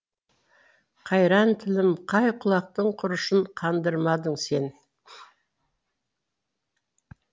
қайран тілім қай құлақтың құрышын қандырмадың сен